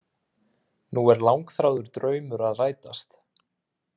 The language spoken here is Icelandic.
Nú er langþráður draumur að rætast